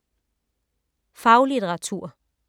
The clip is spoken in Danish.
Faglitteratur